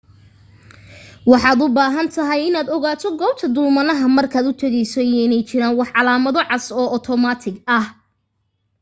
waxaad u baahan tahay inaad ogaato goobta dulmanaha markaad u tegayso iyo inay jiraan wax calamo cas oo otomaatig ah